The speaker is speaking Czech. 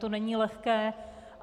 To není lehké.